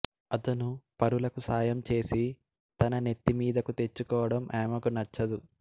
అతను పరులకు సహాయం చేసి తన నెత్తిమీదకు తెచ్చుకోవడం ఆమెకు నచ్చదు